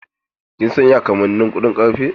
Kin san ya kamannin kuɗin karfe?